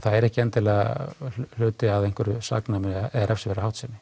er ekki endilega hluti af einhverju saknæmu eða refsiverðri háttsemi